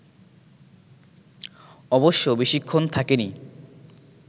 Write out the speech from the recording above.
অবশ্য বেশিক্ষণ থাকে নি